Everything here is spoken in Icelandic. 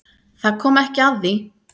Það kom ekki að því.